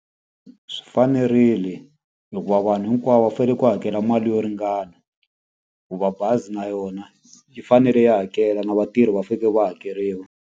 Swi fanerile hikuva vanhu hinkwavo va fanele ku hakela mali yo ringana. Hikuva bazi na yona yi fanele yi hakela, na vatirhi va faneleke va hakeriwa.